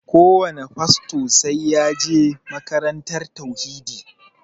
Kowane fasto sai ya je makarantar tauhidi